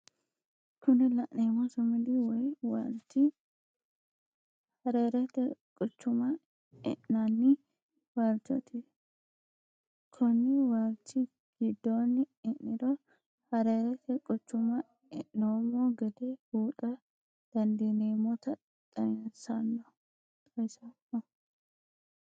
Kuni la'neemo sumudi woyi waalichi harerete quchuma e'nanni waalichoti koni waalichi gidonni e'niro harerete quchuma e'noomo gede buuxa dandineemotta xawisano